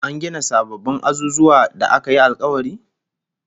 An gina sababbin azuzuwan da aka yi alkawari?